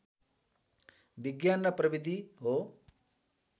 विज्ञान र प्रविधि हो